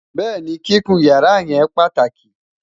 béèni, kíkún yàrá yen pàtàkì